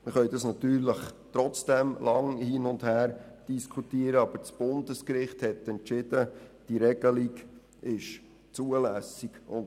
Wir können lange hin und her diskutieren, aber das Bundesgericht hat entschieden, dass diese Regelung zulässig ist.